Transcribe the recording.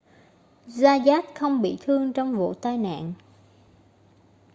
zayat không bị thương trong vụ tai nạn